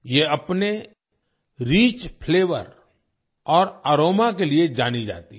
ये अपने rich flavour और अरोमा के लिए जानी जाती है